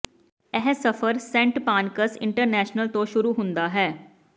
ਇਹ ਸਫਰ Saint Pancras International ਤੋਂ ਸ਼ੁਰੂ ਹੁੰਦਾ ਹੈ